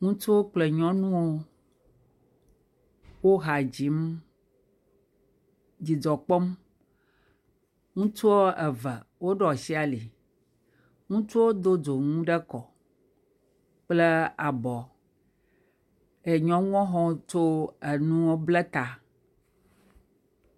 ŋutsuwo kple nyɔnuwo, wo ha dzim dzidzɔ kpɔm. Ŋutsu eve woɖo ashi ali. Ŋutsuwo do dzonu ekɔ kple abɔ. Ke nyɔnuwo tso enu blɛ ta.